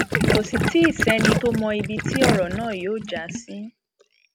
kò sì tì í sẹni tó mọ ibi tí ọrọ náà yóò já sí